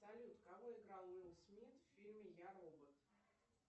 салют кого играл уилл смит в фильме я робот